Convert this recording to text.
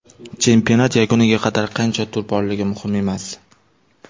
Chempionat yakuniga qadar qancha tur borligi muhim emas.